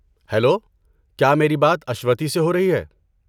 Hello, کیا میری بات اشوتی سے ہو رہی ہے؟